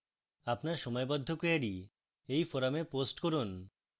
আপনার সময়বদ্ধ কোয়েরী এই forum post করুন